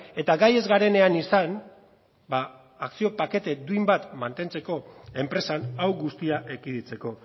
eta gai ez garenean izan akzio pakete duin bat mantentzeko enpresan hau guztia ekiditeko